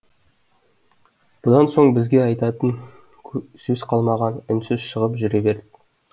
бұдан соң бізде айтатын сөз қалмаған үнсіз шығып жүре бердік